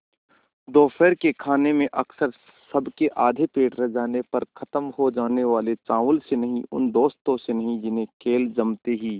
दोपहर के खाने में अक्सर सबके आधे पेट रह जाने पर ख़त्म हो जाने वाले चावल से नहीं उन दोस्तों से नहीं जिन्हें खेल जमते ही